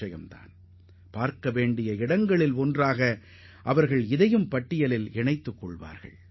நாடு முழுவதும் உள்ள மக்கள் காண விரும்பும் தலமாக இந்த சிலை அமையும் என்பதில் நான் உறுதியான நம்பிக்கை கொண்டுள்ளேன்